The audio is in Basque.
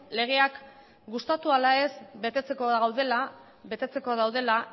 legeak gustatu ala ez betetzeko daudela